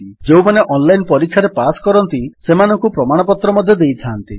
ଯେଉଁମାନେ ଅନଲାଇନ୍ ପରୀକ୍ଷାରେ ପାସ୍ କରନ୍ତି ସେମାନଙ୍କୁ ପ୍ରମାଣପତ୍ର ଦେଇଥାନ୍ତି